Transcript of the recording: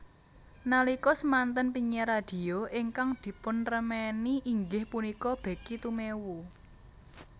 Nalika semanten penyiar radhio ingkang dipunremeni inggih punika Becky Tumewu